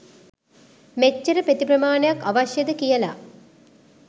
මෙච්චර පෙති ප්‍රමාණයක් අවශ්‍යද කියලා.